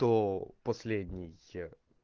то последний